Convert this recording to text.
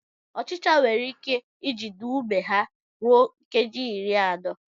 Ọchịchọ nwere ike ijide ume ha ruo nkeji iri anọ.